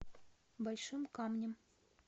большим камнем